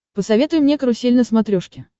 посоветуй мне карусель на смотрешке